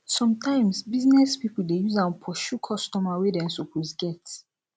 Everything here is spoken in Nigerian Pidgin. sometimes business pipo de use am pursue customer wey dem suppose get